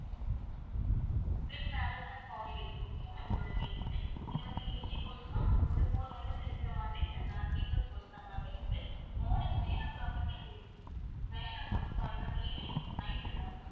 trip travels and holidays okay யா ma'am இதோட name வந்து இது வந்து AC coach தான் அதுக்கப்புறம் four members இருக்கிற மாதிரி ஆஹ் sleeper coach தாங்க ma'am இருக்குது morning nine o'clock க்கு nine o'clock sorry ma'am evening night ma'am